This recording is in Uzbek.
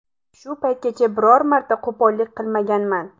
Shu paytgacha biror marta qo‘pollik qilmaganman.